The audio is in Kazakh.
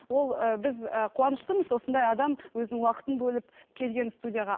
ол ы біз ы қуаныштымыз осындай адам өзінің уақытын бөліп келген студияға